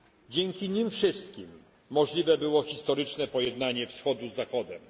Dzięki nim wszystkim możliwe było historyczne pojednanie Wschodu z Zachodem.